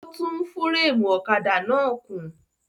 Ó tún fúrémù ọ̀kadà náà kùn.